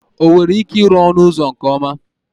O nwere ike iru onu uzo nke oma?